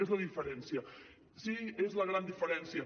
és la diferència sí és la gran diferència